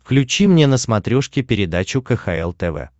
включи мне на смотрешке передачу кхл тв